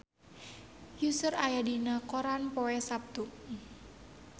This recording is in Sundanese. Usher aya dina koran poe Saptu